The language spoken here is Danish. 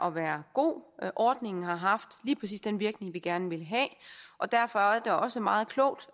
at være god ordningen har haft lige præcis den virkning vi gerne ville have og derfor er det også meget klogt